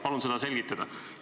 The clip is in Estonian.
Palun seda selgitada.